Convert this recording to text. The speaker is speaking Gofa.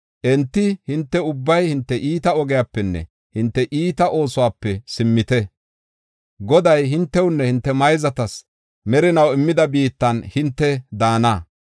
Enti, “Hinte ubbay hinte iita ogiyapenne hinte iita oosuwape simmite. Goday hintewunne hinte mayzatas merinaw immida biittan hinte daana.